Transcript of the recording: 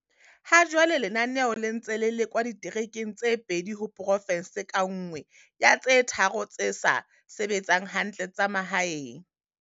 Hajwale lenaneo le ntse le lekwa diterekeng tse pedi ho porofense ka nngwe ya tse tharo tse sa sebetseng hantle tsa mahaeng.